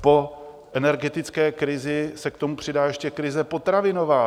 Po energetické krizi se k tomu přidá ještě krize potravinová.